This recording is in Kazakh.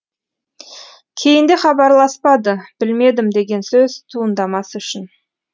кейінде хабарласпады білмедім деген сөз туындамас үшін